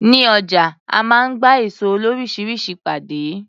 Ní ọjà a máa ń gba èso loríṣiríṣi pàdé.